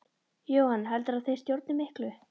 Jóhann: Heldurðu að þeir stjórni miklu?